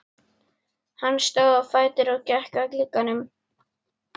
Hann stóð á fætur og gekk að glugganum.